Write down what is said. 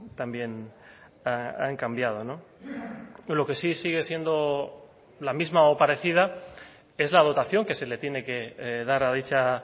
también han cambiado lo que sí sigue siendo la misma o parecida es la dotación que se le tiene que dar a dicha